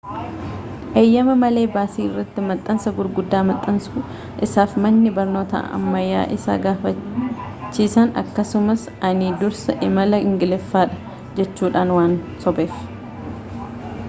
eeyyamaa malee baasii irratti maxxansaa gurgudda maxxansuu isaaf manni barnoota ammayyaa isaa gaafachisan akkasumas ani dursaa imala ingiiliffaadha' jechuudhan waan sobeef